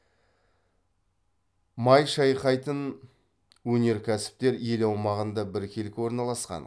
май шайқайтын өнеркәсіптер ел аумағында біркелкі орналасқан